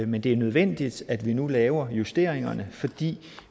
men det er nødvendigt at vi nu laver justeringerne fordi